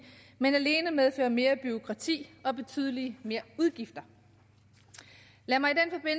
men alene medfører mere bureaukrati og betydelig flere udgifter lad mig